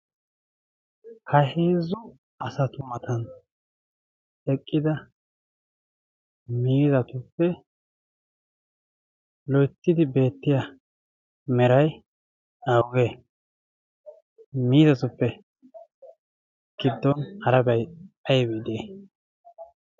Ha heezzu asatu mata eqqida miizzatuppe loytidi beettiya mera awugee? miizzatuppe gidon harabay aybbe diyay?